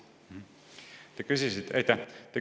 Aitäh!